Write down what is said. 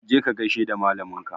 Je ka gaishe da malamin ka!